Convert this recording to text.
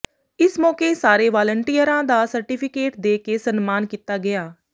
ਇਸ ਮੌਕੇ ਸਾਰੇ ਵਾਲੰਟੀਅਰਾਂ ਦਾ ਸਰਟੀਫਿਕੇਟ ਦੇ ਕੇ ਸਨਮਾਨ ਕੀਤਾ ਗਿਆ